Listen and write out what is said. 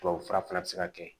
Tubabufura fana bi se ka kɛ